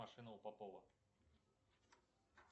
машина у попова